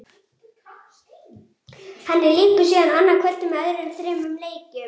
Henni lýkur síðan annað kvöld með öðrum þremur leikjum.